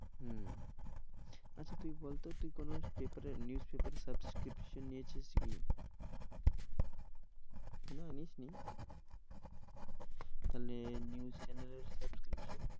হম আচ্ছা তুই বল তো তুই কোনো paper এ news paper এর subscription নিয়েছিস কি? না নিসনি? তাহলে news channel এর subscription